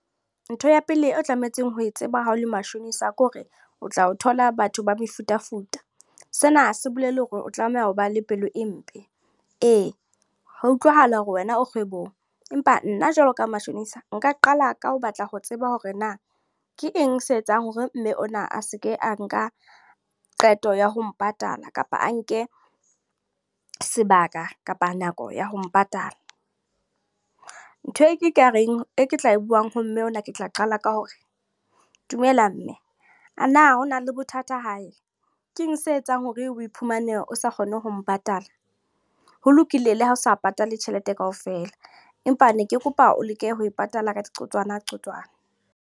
Ntho ya pele o tlametseng ho e tseba ha o le mashonisa, ke hore o tla o thola batho ba mefutafuta. Sena ha se bolela hore o tlameha ho ba le pelo e mpe. Ee, ho a utlwahala hore wena o kgwebong. Empa nna jwalo ka mashonisa. Nka qala ka ho batla ho tseba hore na ke eng se etsang hore mme ona a seke a nka qeto ya ho mpatala. Kapa a nke sebaka kapa nako ya ho mpatala. Ntho e ke e ka reng, e ke tla e buang ha mme ona ke tla qala ka hore, dumela mme. A na ho na le bothata hae? Keng se etsang hore o iphumane o sa kgone ho mpatala? Ho lokile le ha o sa patale tjhelete kaofela. Empa ne ke kopa o leke ho e patala ka diqotswana qotswana.